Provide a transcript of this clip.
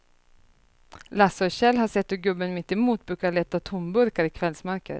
Lasse och Kjell har sett hur gubben mittemot brukar leta tomburkar i kvällsmörkret.